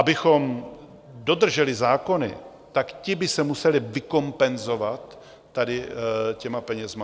Abychom dodrželi zákony, tak ti by se museli vykompenzovat tady těmi penězi.